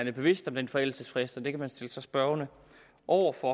er bevidst om den forældelsesfrist og det kan man stille sig spørgende over for